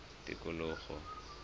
tikologo